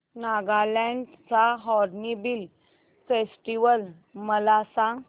नागालँड चा Hornbill Festival मला सांग